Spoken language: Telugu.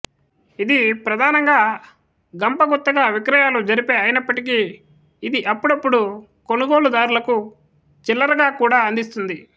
ఇది ప్రధానంగా గంపగుత్తగా విక్రయాలు జరిపే అయినప్పటికీ ఇది అప్పుడప్పుడు కొనుగోలుదారులకు చిల్లరగాకూడా అందిస్తుంది